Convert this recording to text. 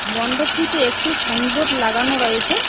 মন্ডপটিতে একটি সাইনবোর্ড লাগানো রয়েসে।